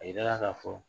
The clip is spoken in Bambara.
A yirala ka fɔ